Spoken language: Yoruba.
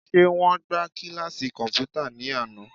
Ṣé wọ́n gbá kíláàsì kọ̀m̀pútà ní àná?